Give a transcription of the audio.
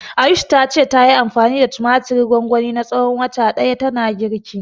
Ayush ta ce, tayi anfani da tumatirin gwangwani na tsawon wata ɗaya tana girki.